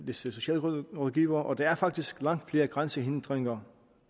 disse socialrådgivere og der er faktisk langt flere grænsehindringer